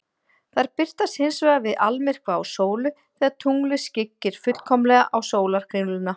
Þær birtast hins vegar við almyrkva á sólu, þegar tunglið skyggir fullkomlega á sólarkringluna.